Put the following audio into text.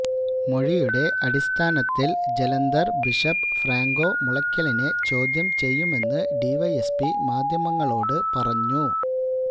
മൊഴിയുടെ അടിസ്ഥാനത്തില് Jalandhar bishop Franco മുളക്കലിനെ ചോദ്യം ചെയ്യുമെന്ന് ഡിവൈഎസ്പി മാധ്യമങ്ങളോട് പറഞ്ഞു